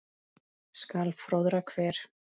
skal fróðra hver